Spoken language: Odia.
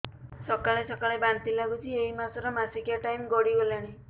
ସକାଳେ ସକାଳେ ବାନ୍ତି ଲାଗୁଚି ଏଇ ମାସ ର ମାସିକିଆ ଟାଇମ ଗଡ଼ି ଗଲାଣି